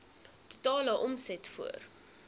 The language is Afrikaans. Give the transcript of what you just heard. totale omset voor